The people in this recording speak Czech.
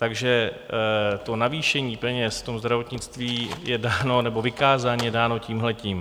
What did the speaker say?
Takže to navýšení peněz v tom zdravotnictví je dáno, nebo vykázání je dáno tímhletím.